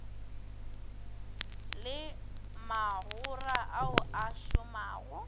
le magora ao a šomago